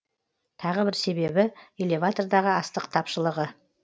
тағы бір себебі элеватордағы астық тапшылығы